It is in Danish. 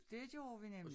Det gjorde vi nemlig